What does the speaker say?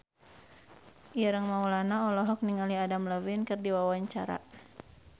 Ireng Maulana olohok ningali Adam Levine keur diwawancara